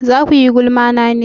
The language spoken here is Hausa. Za kuyi gulma na ne?